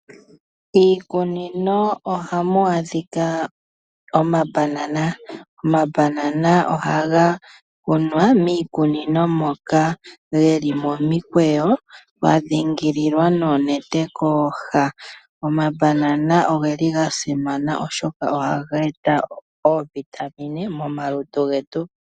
Iikunino ohamu adhika omambanana, omambanana ohaga kunwa miikunino moka geli momikweyo kwadhingililwa noonete kooha. Omambanana ogeli ga simana oshoka ohaga eta oovitamine momalutu getu.